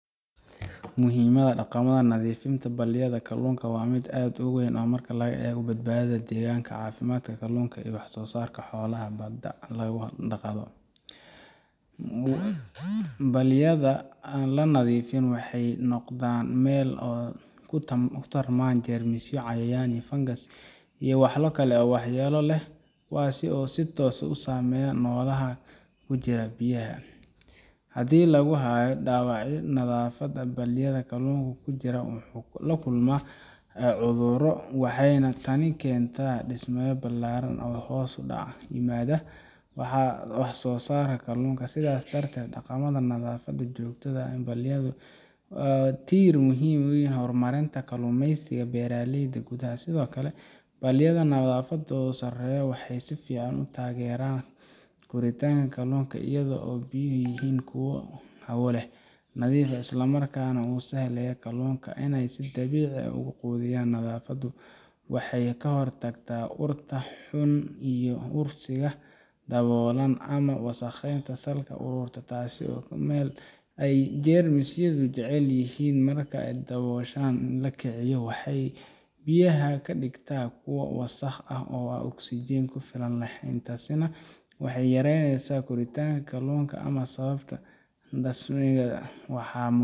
Muhiimadda dhaqamada nadiifinta balliyada kalluunka waa mid aad u weyn marka la eego badbaadada deegaanka, caafimaadka kalluunka, iyo waxsoosaarka xoolaha badda lagu dhaqdo. Balliyada aan la nadiifin waxay noqdaan meel ay ku tarmaan jeermisyo, cayayaan, fangas iyo walxo kale oo waxyeelo leh kuwaas oo si toos ah u saameeya noolaha ku jira biyaha. Haddii lagu dayaco nadaafadda balliyada, kalluunka ku jira wuxuu la kulmaa cudurro, waxayna tani keentaa dhimasho ballaaran iyo hoos u dhac ku yimaada waxsoosaarka kalluunka. Sidaas darteed, dhaqanka nadaafadda joogtada ah ee balliyada waa tiir muhiim u ah horumarinta kalluumaysiga beeraleyda gudaha. Sidoo kale, balliyada nadaafaddoodu sarreyso waxay si fiican u taageeraan koritaanka kalluunka iyadoo biyuhu yihiin kuwo hawo leh, nadiif ah, isla markaana u sahlaya kalluunka inay si dabiici ah u quudiyaan. Nadaafaddu waxay ka hortagtaa urta xun iyo urursiga dhoobada ama wasakhda salka ku ururta, taasoo ah meel ay jeermisyadu jecel yihiin. Marka dhoobadaasi la kiciyo, waxay biyaha ka dhigtaa kuwo wasakh ah oo aan oksijiin ku filan lahayn, taasina waxay yareysaa koritaanka kalluunka ama sababtaa dhimashadiisa. Waxaa muhiim